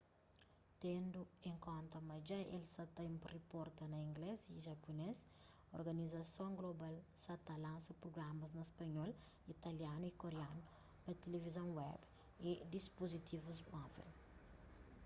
tendu en konta ma dja el sa ta riporta na inglês y japunês organizason global sa ta lansa prugramas na spanhol italianu y koreanu pa tilivizon web y dispuzitivu móvel